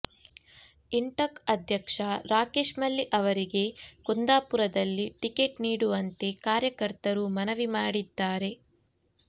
ಇಂಟಕ್ ಅಧ್ಯಕ್ಷ ರಾಕೇಶ್ ಮಲ್ಲಿ ಅವರಿಗೆ ಕುಂದಾಪುರದಲ್ಲಿ ಟಿಕೆಟ್ ನೀಡುವಂತೆ ಕಾರ್ಯಕರ್ತರು ಮನವಿ ಮಾಡಿದ್ದಾರೆ